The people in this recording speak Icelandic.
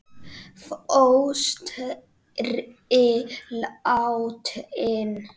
Fóstri látinn.